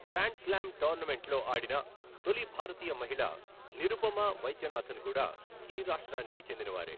Grand slam టోర్నమెంట్లో ఆడిన తొలి భారతీయ మహిళ నిరుపమా వైద్యనాథన్ కూడా ఈ రాష్ట్రానికి చెందినవారే.